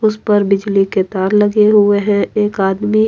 उस पर बिजिली के तार लगे हुए हैं एक आदमी --